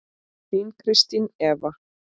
Þín Kristín Eva.